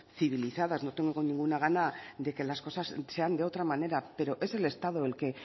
civilizadas no tengo ninguna gana de que las cosas sean de otra manera pero es el estado el que